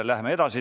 Läheme edasi.